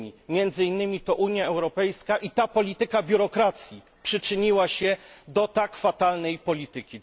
Między innymi to Unia Europejska i ta polityka biurokracji przyczyniła się do tak fatalnej polityki.